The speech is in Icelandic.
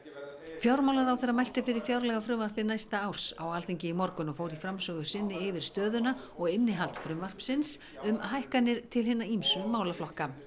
fjármálaráðherra mælti fyrir fjárlagafrumvarpi næsta árs á Alþingi í morgun og fór í framsögu sinni yfir stöðuna og innihald frumvarpsins um hækkanir til hinna ýmsu málaflokka